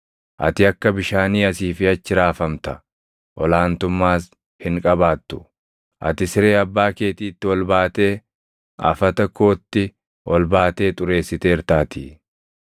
Ati akka bishaanii asii fi achi raafamta; ol aantummaas hin qabaattu; ati siree abbaa keetiitti ol baatee, afata kootti ol baatee xureessiteertaatii.